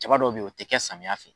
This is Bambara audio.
Jaba dɔw be yen o ti kɛ samiya fɛ